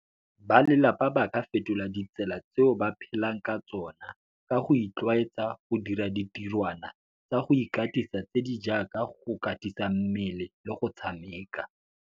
Balelapa ba ka fetola ditsela tseo ba phelang ka tsona ka go itlwaetsa go dira ditirwana tsa go ikatisa tse di jaaka go katisa mmele le go tshameka.